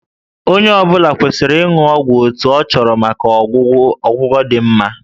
Onye ọ bụla kwesịrị ịṅụ ọgwụ otu a chọrọ maka ọgwụgwọ dị mma